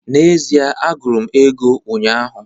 N'ezie, m gụrụ ego ụnyaahụ